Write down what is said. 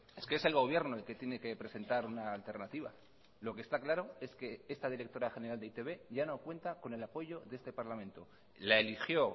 es que es el gobierno el que tiene que presentar una alternativa lo que está claro es que esta directora general de e i te be ya no cuenta con el apoyo de este parlamento la eligió